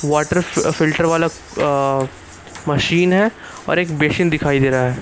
Water filter वाला अ machine है और एक बेसिन दिखाई दे रहा है।